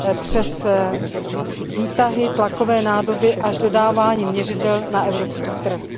přes výtahy, tlakové nádoby až k dodávání měřidel na evropský trh.